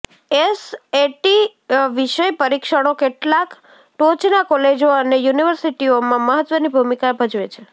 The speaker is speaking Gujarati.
એસએટી વિષય પરીક્ષણો કેટલાક ટોચના કોલેજો અને યુનિવર્સિટીઓમાં મહત્વની ભૂમિકા ભજવે છે